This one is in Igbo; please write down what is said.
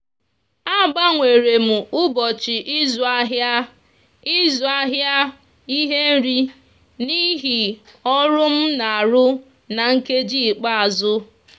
a gbanwere m ụbọchị ịzụ ahịa ịzụ ahịa ihe nri n'ihi ọrụ m na-arụ na nkeji ikpeazụ.